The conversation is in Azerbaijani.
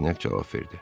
Rostinyak cavab verdi: